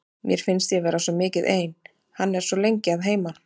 Mér finnst ég vera svo mikið ein, hann er svo lengi að heiman.